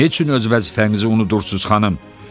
Nə üçün öz vəzifənizi unudursunuz, xanım?